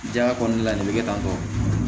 Jaya kɔnɔna la nin bɛ kɛ tan tɔ